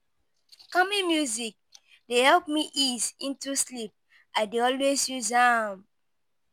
Calming music dey help me ease into sleep; I dey always use am.